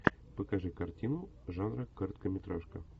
покажи картину жанра короткометражка